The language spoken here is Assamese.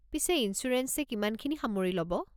পিছে ইনছুৰেঞ্চে কিমানখিনি সামৰি ল'ব?